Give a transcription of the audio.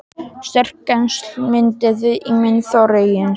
Sterk tengsl mynduðust milli mín og Þorgeirs.